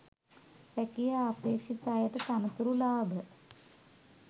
රැකියා අපේක්‍ෂිත අයට තනතුරු ලාභ